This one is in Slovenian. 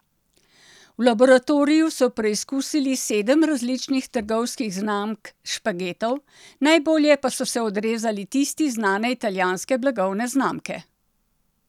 V laboratoriju so preizkusili sedem različnih trgovskih znamk špagetov, najbolje pa so se odrezali tisti znane italijanske blagovne znamke.